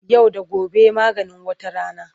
Yau da gobe maganin wata rana.